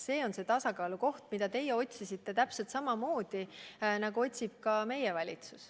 See on see tasakaalu koht, mida teie otsisite täpselt samamoodi, nagu otsib ka meie valitsus.